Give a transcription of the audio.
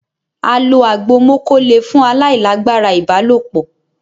a lò àgbò moko lẹ fún ailagbara ibalopo